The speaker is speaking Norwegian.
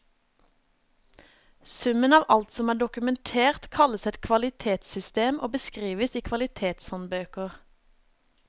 Summen av alt som er dokumentert, kalles et kvalitetssystem og beskrives i kvalitetshåndbøker.